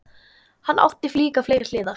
Hann átti líka fleiri hliðar.